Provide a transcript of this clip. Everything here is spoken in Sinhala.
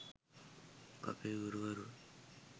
අපේ ගුරුවරුන්